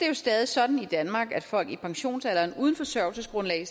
jo stadig sådan i danmark at folk i pensionsalderen uden forsørgelsesgrundlag